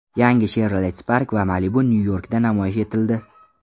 Yangi Chevrolet Spark va Malibu Nyu-Yorkda namoyish etildi .